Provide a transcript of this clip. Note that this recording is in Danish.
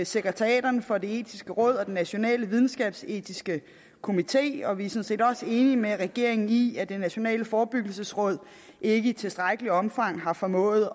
sekretariaterne for det etiske råd og den nationale videnskabsetiske komité og vi set også enige med regeringen i at det nationale forebyggelsesråd ikke i tilstrækkeligt omfang har formået